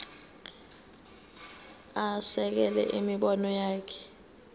asekele imibono yakhe